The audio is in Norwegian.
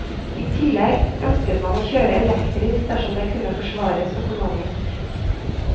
I tillegg ønsket man å kjøre elektrisk dersom det kunne forsvares økonomisk.